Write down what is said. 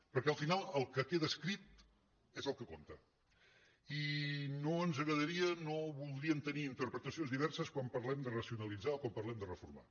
perquè al final el que queda escrit és el que compta i no ens agradaria no voldríem tenir interpretacions di·verses quan parlem de racionalitzar o quan parlem de reformar